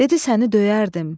Dedi səni döyərdim.